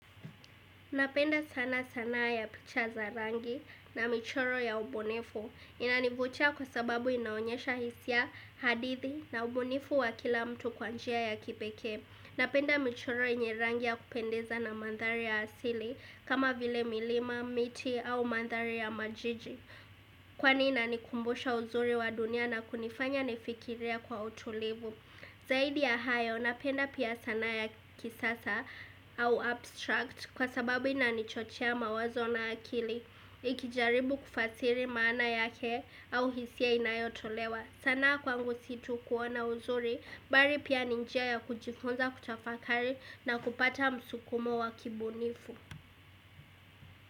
Napenda sana sanaa ya picha za rangi na michoro ya ubunifu. Inanivutia kwa sababu inaonyesha hisia hadithi na ubunifu wa kila mtu kwa njia ya kipekee. Napenda michoro yenye rangi ya kupendeza na mandhari ya asili kama vile milima, miti au mandhari ya majiji. Kwani inanikumbusha uzuri wa dunia na kunifanya nifikirie kwa utulivu. Zaidi ya hayo, napenda pia sanaa ya kisasa au abstract kwa sababu inanichochea mawazona akili. Ikijaribu kufasiri maana yake au hisia inayotolewa. Sanaa kwangu situ kuona uzuri, baki pia ni njia ya kujifunza kutafakari na kupata msukumo wa kibunifu.